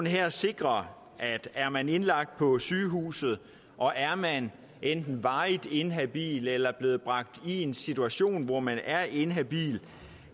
her sikrer at er man indlagt på sygehus og er man enten varigt inhabil eller blevet bragt i en situation hvor man er inhabil